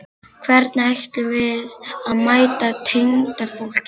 Hvernig ætlum við að mæta tengdafólkinu?